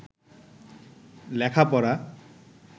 লেখাপড়া